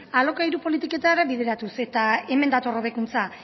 alokairu politiketara bideratuz eta hemen dator hobekuntza